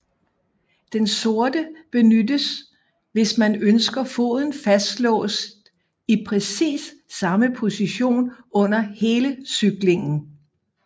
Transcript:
Den sorte benyttes hvis man ønsker foden fastlåst i præcis samme position under hele cyklingen